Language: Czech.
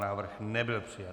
Návrh nebyl přijat.